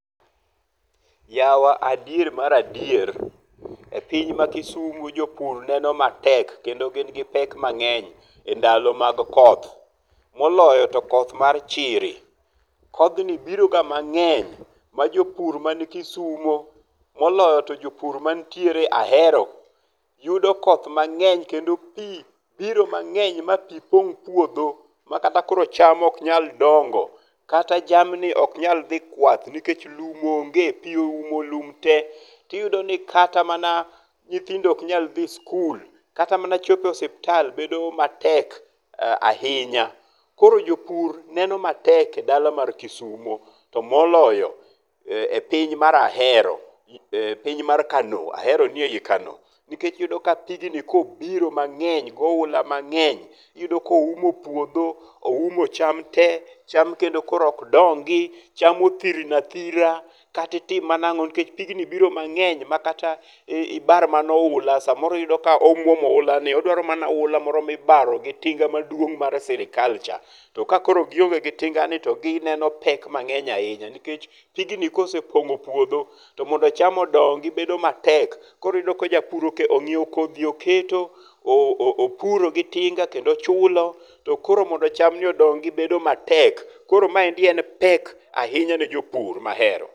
Yawa adier mar adier, e piny ma Kisumo jopur neno matek kendo gin gi pek mang'eny e ndalo mag koth, moloyo to koth mar chiri. Kodhni biro ga mang'eny ma jopur ma ni Kisumo moloyo to jopur manitiere Ahero yudo koth mang'eny kendo pi biro mang'eny ma pi pong' puodho ma kata koro cham ok nyal dongo. Kata jamni ok nyal dhi kwath nikech lum onge pi oumo lum te. To iyudo ni kata mana nyithindo ok nyal dhi skul. Kata mana chopo e osiptal bedo matek ahinya. Koro jopur neno matek e dala mar Kisumo to moloyo e piny mar Ahero e piny mar Kano. Ahero ni e yi Kano. Nikech iyudo ni pigni kobiro mang'eny goula mang'eny iyudo koumo puodho, oumo cham te. Cham kendo koro ok dongi. Cham othirno athira kata itim mana ang'o nikech pigni biro mang'eny makata ibar mana oula samoro iyudo ka omuomo oula ni. Odwaro mana oula mibaro gi tinga maduong' mar sirkal cha. To koro ka gionge gi tinga ni to gineno pek mngeny ahinya nikech pigni kosepong'o puodho to mondo cham odongi bedo matek. Koro iyudo ka japur ongiew kodhi oketo opuro gi tinga kendo ochulo. To koro mondo cham ni odongi bedo matek. Koro maendi en pek ahinya ne jopur ma Ahero.